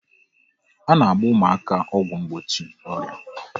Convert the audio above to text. A na-agba ụmụaka ọgwụ mgbochi ọrịa